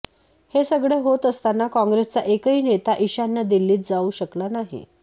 हे सगळे होत असताना काँग्रेसचा एकही नेता ईशान्य दिल्लीत जाऊ शकला नाही